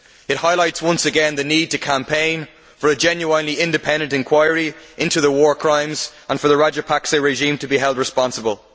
It highlights once again the need to campaign for a genuinely independent inquiry into the war crimes and for the Rajapaksa regime to be held responsible.